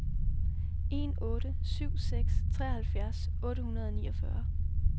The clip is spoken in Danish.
en otte syv seks treoghalvfjerds otte hundrede og niogfyrre